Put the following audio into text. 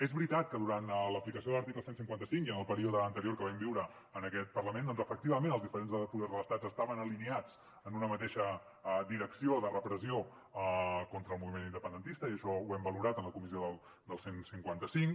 és veritat que durant l’aplicació de l’article cent i cinquanta cinc i en el període anterior que vam viure en aquest parlament doncs efectivament els diferents poders de l’estat estaven alineats en una mateixa direcció de repressió contra el moviment independentista i això ho hem valorat en la comissió del cent i cinquanta cinc